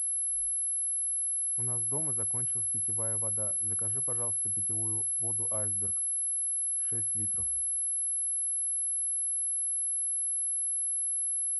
у нас дома закончилась питьевая вода закажи пожалуйста питьевую воду айсберг шесть литров